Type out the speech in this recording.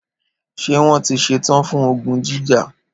Ṣé wón tí ṣetán fún ogun jíjà